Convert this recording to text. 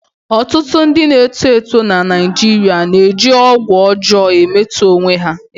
Ọtụtụ ndị na-eto eto na Naijiria na-eji ọgwụ ọjọọ emetọ onwe ha.